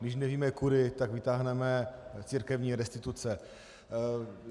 Když nevíme kudy, tak vytáhneme církevní restituce.